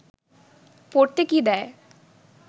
পড়তে কি দেয়